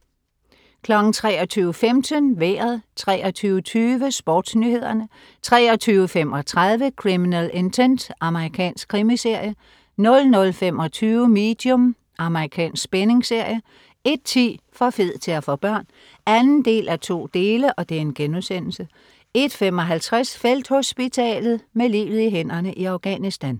23.15 Vejret 23.20 SportsNyhederne 23.35 Criminal Intent. Amerikansk krimiserie 00.25 Medium. Amerikansk spændingsserie 01.10 For fed til at få børn 2:2* 01.55 Felthospitalet. Med livet i hænderne i Afghanistan